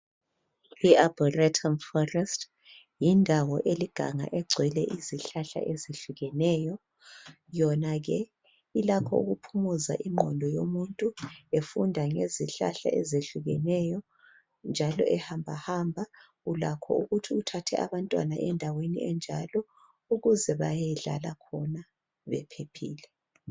yindawo eliganga egcwle izihlehle zihlukeneyo yonake ilakho ukuphumuza inqondo yomuntu funda ngezihlhla ezitshiyeneyo njalo ehambahamba ulakho ukuthatha abantwana endaweni abanjalo ukuze bayedlala khona bephephile